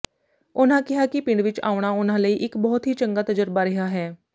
ਉਨ੍ਹਾਂ ਕਿਹਾ ਕਿ ਪਿੰਡ ਵਿਚ ਆਉਣਾ ਉਨਾ ਲਈ ਇਕ ਬਹੁਤ ਹੀ ਚੰਗਾ ਤਜਰਬਾ ਰਿਹਾ ਹੈ